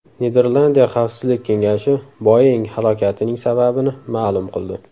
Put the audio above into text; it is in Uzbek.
Niderlandiya xavfsizlik kengashi Boeing halokatining sababini ma’lum qildi.